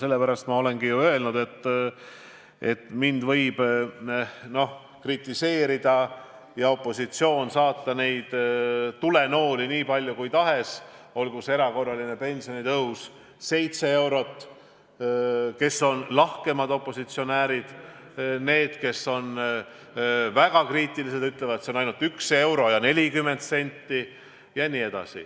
Sellepärast ma olengi öelnud, et mind võib kritiseerida ja opositsioon võib saata minu poole tulenooli nii palju kui tahes, aga ma väidan, et aitab ka see erakorraline pensionitõus – 7 eurot, nagu ütlevad lahkemad opositsionäärid, ja need, kes on väga kriitilised, ütlevad, et see on ainult 1 euro ja 40 senti.